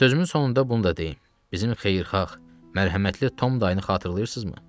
Sözümün sonunda bunu da deyim, bizim xeyirxah, mərhəmətli Tom dayını xatırlayırsızmı?